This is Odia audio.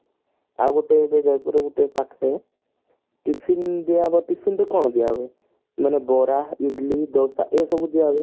ଆଉ ଗୋଟେ ଜଯପୁର ରେ ଗୋଟେ ଏଇ ପାଖରେ tiffin ଦିଆ ହେବ tiffin କେତେବେଳେ ଦିଆହେବ ମାନେ ବରା ଇଡିଲି ଦୋସା ଏସବୁ ଦିଆହୁଏ